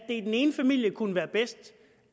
i den ene familie kunne være bedst